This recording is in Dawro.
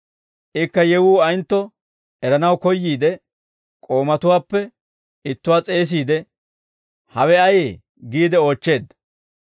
Ikka yewuu ayentto eranaw koyyiide, k'oomatuwaappe ittuwaa s'eesiide, ‹Hawe ayee?› giide oochcheedda.